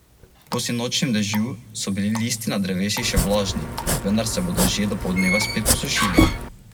Tjaša se z nasmehom spominja tistih časov, bilo je v petdesetih letih prejšnjega stoletja.